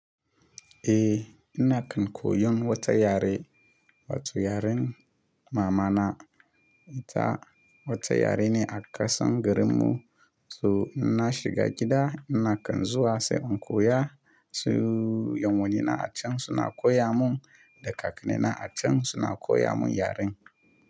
Eh, ina kan koyon wata yare, wato yaren mamana. Ita wata yare ne a ƙasan garin mu. To ina shiga gida ina kan zuwa sai in koya. Su yan wanni na acan suna koya mun da kakanni na acan suna koya mun yaren.